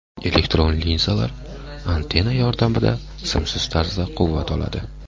Elektron linzalar antenna yordamida simsiz tarzda quvvat oladi.